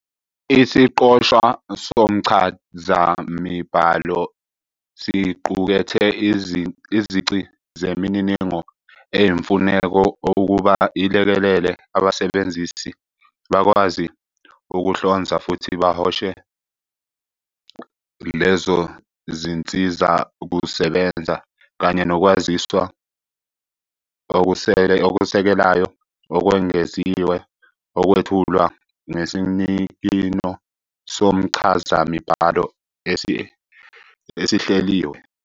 Isiqoshwa somchazamibhalo siqukethe izici zemininingo eyimfuneko ukuba ilekelele abasebenzisi bakwazi ukuhlonza futhi bahoshe lezo zinsizakusebenza, kanye nokwaziswa okusekelayo okwengeziwe, okwethulwa ngesinikino somchazamibhalo esihleliwe.